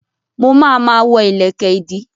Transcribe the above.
Mo ma ma wọ́ ìlẹ̀kẹ̀ ìdí